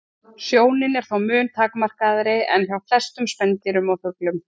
Sjónin er þó mun takmarkaðri en hjá flestum spendýrum og fuglum.